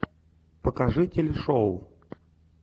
покажи телешоу